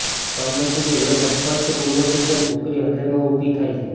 કમનસીબી એક અસ્પષ્ટ પૂર્વસૂચન છોકરી હૃદય માં ઊભી થાય છે